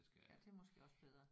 Ja det er måske også bedre